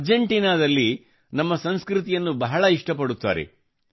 Argentina ದಲ್ಲಿ ನಮ್ಮ ಸಂಸ್ಕೃತಿಯನ್ನು ಬಹಳ ಇಷ್ಟ ಪಡುತ್ತಾರೆ